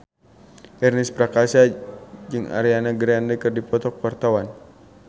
Ernest Prakasa jeung Ariana Grande keur dipoto ku wartawan